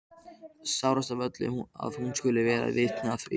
Sárast af öllu að hún skuli verða vitni að því.